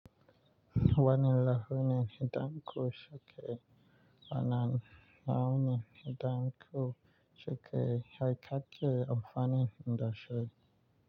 Wani lahu ne hidan ku cike, ana na wane hidan ku cike ya kakke amfani indashi.